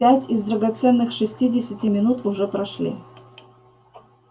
пять из драгоценных шестидесяти минут уже прошли